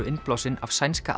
innblásin af sænska